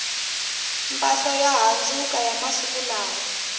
mpahla yo handzuka ya masiku lawa